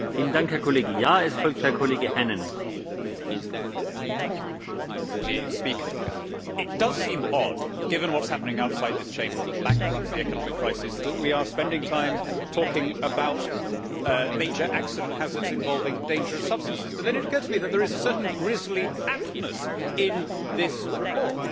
Mr President, it does seem odd given what is happening outside this chamber the bank runs, the economic crisis that we are spending time talking about major accident hazards involving dangerous substances, but then it occurred to me that there is a certainly grisly aptness in this report.